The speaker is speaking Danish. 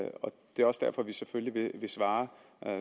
det er også derfor vi selvfølgelig vil svare